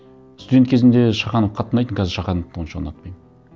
студент кезімде шаханов қатты ұнайтын қазір шахановты онша ұнатпаймын